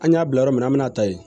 An y'a bila yɔrɔ min na an bɛna ta yen